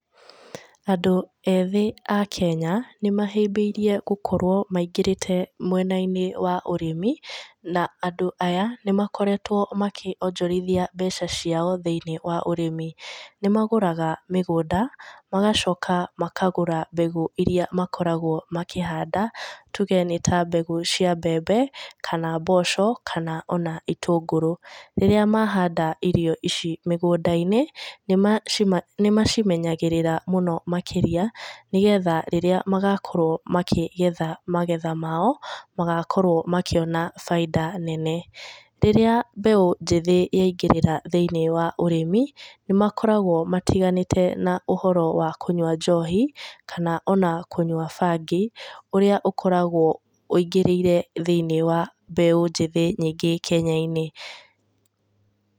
Andũ ethĩ a Kenya nĩ mahĩmbĩirie gũkorwo maingĩrĩte mwena-inĩ wa ũrĩmi na andũ aya nĩ makoretwo makĩonjorithia mbeca ciao thĩ-inĩ wa ũrĩmi, nĩ magũraga mĩgũnda, magacoka makagũra mbegũ iria makoragwo makĩhanda tuge nĩ ta mbegũ cia mbembe kana mboco kana ona itũngũrũ. Rĩrĩa mahanda irio ici mĩgũnda-inĩ, nĩ macimenyagĩrĩra mũno makĩria nĩgetha rĩrĩa magakorwo makĩgetha magetha mao, magakorwo makĩona baida nene. Rĩrĩa mbeũ njĩthĩ yaingĩrĩra thĩ-inĩ wa ũrĩmi, nĩ makoragwo matiganĩte na ũhoro wa kũnyua njohi kana o na kũnyua bangi, ũrĩa ũkoragwo ũingĩrĩire thĩ-inĩ wa mbeũ njĩthĩ nyingĩ Kenya-inĩ.